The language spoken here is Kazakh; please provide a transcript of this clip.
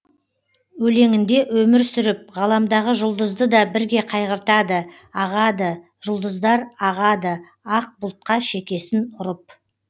өлеңінде өмір сүріп ғаламдағы жұлдызды да бірге қайғыртады ағады жұлдыздар ағады ақ бұлтқа шекесін ұрып